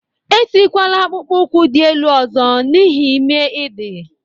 E tikwala akpụkpọụkwụ dị ele ọzọ n'ihi ime i dị!